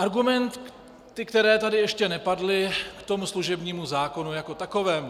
Argumenty, které tady ještě nepadly k tomu služebnímu zákonu jako takovému.